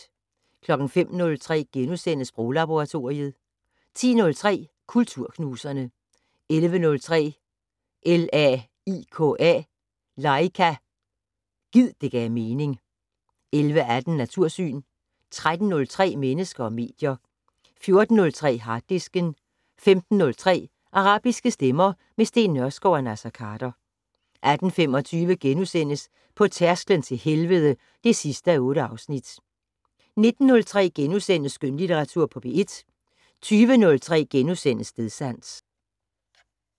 05:03: Sproglaboratoriet * 10:03: Kulturknuserne 11:03: LAIKA - Gid det gav mening 11:18: Natursyn 13:03: Mennesker og medier 14:03: Harddisken 15:03: Arabiske stemmer - med Steen Nørskov og Naser Khader 18:25: På tærsklen til helvede (8:8)* 19:03: Skønlitteratur på P1 * 20:03: Stedsans *